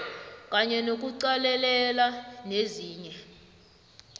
kanye nokuqalelela nezinye